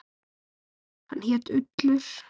Hann hét Ullur.